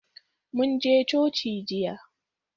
Mun je coci jiya